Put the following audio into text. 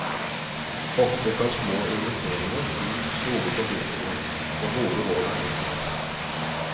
Ofte kan små investeringer gi store forbedringer, og gode råd er helt gratis.